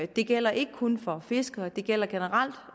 det gælder ikke kun for fiskere det gælder generelt